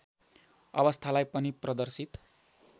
अवस्थालाई पनि प्रदर्शित